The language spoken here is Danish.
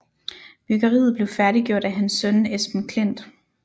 Byggeriet blev færdiggjort af hans søn Esben Klint